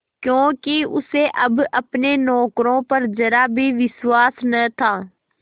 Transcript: क्योंकि उसे अब अपने नौकरों पर जरा भी विश्वास न था